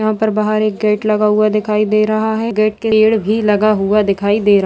यहाँ पर बाहर एक गेट लगा हुआ दिखाई दे रहा है गेट के पेड़ भी लगा हुआ दिखाई दे रहा है।